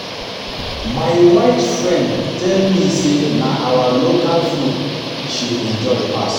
My white friend tell me say na our local food she enjoy pass